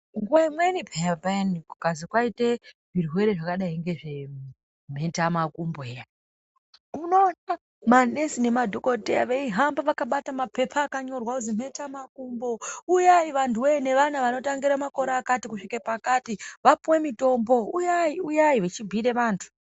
Nguwa imweni peya peyani kukazi kwaite zvirwere zvakadai ngezvemheta makumbo eya unoona manesi nemadhokodheya veihamba vakabata mapepa akanyorwa kuzi mhetamakumbo uyai vanhuwe nevana vanotangire makore akati kuzvike pakati vapuwe mitombo uyai uyai vechimbuyire vantu.